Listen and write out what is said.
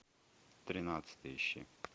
тринадцатый ищи